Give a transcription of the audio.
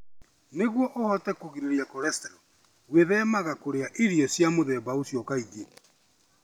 Nĩguo ũhote kũgirĩrĩria cholesterol, gwĩthemaga kũrĩa irio cia mũthemba ũcio kaingĩ.